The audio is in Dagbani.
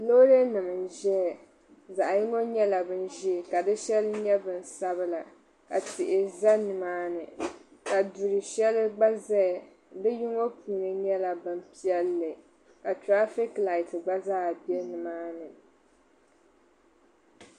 loorinima n-zaya zaɣ' yiŋga nyɛla binʒee ka di shɛli nyɛ binsabila ka tihi za ni maani ka du' shɛŋa gba zaya bɛ yino puuni nyɛla bimpiɛlli ka tiraafiki laati gba zaa be ni maani